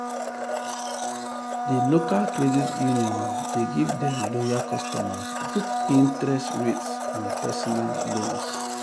the local credit union dey give dem loyal customers good interest interest rates on personal um loans.